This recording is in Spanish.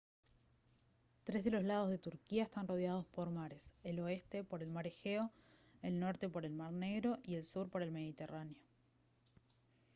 tres de los lados de turquía están rodados por mares el oeste por el mar egeo el norte por el mar negro y el sur por el mediterráneo